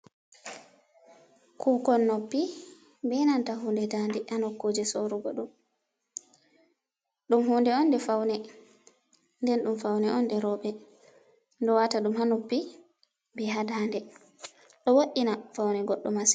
Kukon noppi be nanta hunde daande ha nokkuje sorugo ɗum. Ɗum hunde on nde faune, nden ɗum faune on nde roɓe. Ɗo wata ɗum ha noppi be ha daande. Ɗo wo'ina faune goddo masin.